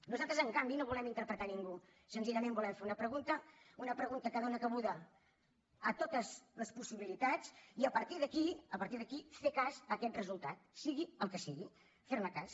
nosaltres en canvi no volem interpretar ningú senzillament volem fer una pregunta una pregunta que dóna cabuda a totes les possibilitats i a partir d’aquí fer cas a aquest resultat sigui el que sigui fer ne cas